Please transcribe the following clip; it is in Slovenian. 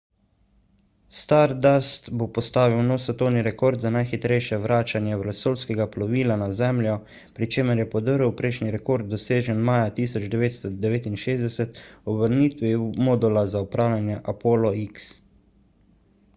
stardust bo postavil nov svetovni rekord za najhitrejše vračanje vesoljskega plovila na zemljo pri čemer je podrl prejšnji rekord dosežen maja 1969 ob vrnitvi modula za upravljanje apollo x